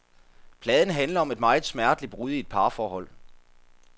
Pladen handler om et meget smerteligt brud i et parforhold.